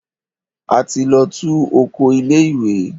A ti lọ tú oko ilé ìwé.